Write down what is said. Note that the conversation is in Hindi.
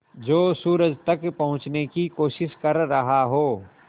जो सूरज तक पहुँचने की कोशिश कर रहा हो